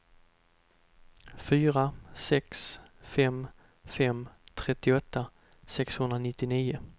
fyra sex fem fem trettioåtta sexhundranittionio